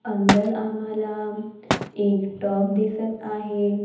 अंदर आम्हाला एक टॉप दिसत आहे.